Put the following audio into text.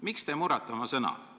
Miks te murrate oma sõna?